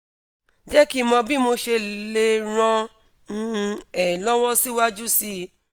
je ki mo bi mosele ran um e lowo siwaju sii